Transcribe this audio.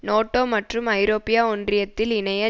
நோட்டோ மற்றும் ஐரோப்பிய ஒன்றியத்தில் இணைய